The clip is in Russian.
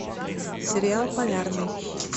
сериал полярный